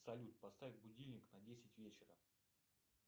салют поставь будильник на десять вечера